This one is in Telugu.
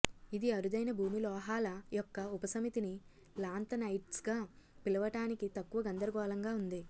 ఇది అరుదైన భూమి లోహాల యొక్క ఉపసమితిని లాంతనైడ్స్గా పిలవటానికి తక్కువ గందరగోళంగా ఉంది